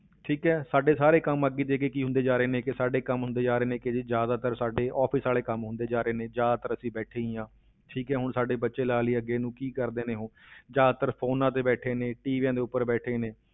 ਠੀਕ ਹੈ ਸਾਡੇ ਸਾਰੇ ਕੰਮ ਅੱਗੇ ਦੀ ਅੱਗੇ ਕੀ ਹੁੰਦੇ ਜਾ ਰਹੇ ਨੇ ਕਿ ਸਾਡੇ ਕੰਮ ਹੁੰਦੇ ਜਾ ਰਹੇ ਨੇ ਕਿ ਜੀ ਜ਼ਿਆਦਾਤਰ ਸਾਡੇ office ਵਾਲੇ ਕੰਮ ਹੁੰਦੇ ਜਾ ਰਹੇ ਨੇ, ਜ਼ਿਆਦਾਤਰ ਅਸੀਂ ਬੈਠੇ ਹੀ ਹਾਂ, ਠੀਕ ਹੈ ਹੁਣ ਸਾਡੇ ਬੱਚੇ ਲਾ ਲਈਏ ਅੱਗੇ ਨੂੰ ਕੀ ਕਰਦੇ ਨੇ ਉਹ ਜ਼ਿਆਦਾਤਰ phones ਤੇ ਬੈਠੇ ਨੇ, ਟੀਵੀਆਂ ਦੇ ਉੱਪਰ ਬੈਠੇ ਨੇ